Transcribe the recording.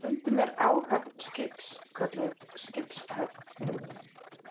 Stundum er áhöfn skips kölluð skipshöfn.